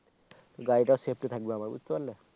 গাড়িটা সেফটি থাকবে আমার বুঝতে পারলে